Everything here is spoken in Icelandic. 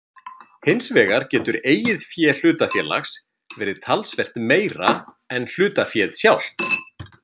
Hinsvegar getur eigið fé hlutafélags verið talsvert meira en hlutaféð sjálft.